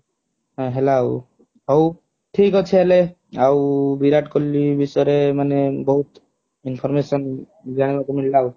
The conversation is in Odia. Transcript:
ହାଉ ହେଲାଉ ହାଉ ଠିକ ଅଛି ହେଲେ ଆଉ ବିରାଟ କୋହଲୀ ବିଷୟରେ ମାନେ ବହୁତ information ଜାଣିବାକୁ ମିଳିଲା ଆଉ